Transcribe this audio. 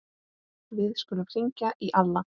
Við skulum hringja í Alla.